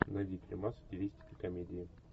найди фильмас в стилистике комедии